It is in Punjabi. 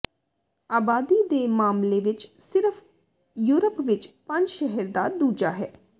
ਆਬਾਦੀ ਦੇ ਮਾਮਲੇ ਵਿੱਚ ਸਿਰਫ ਯੂਰਪ ਵਿੱਚ ਪੰਜ ਸ਼ਹਿਰ ਦਾ ਦੂਜਾ ਹੈ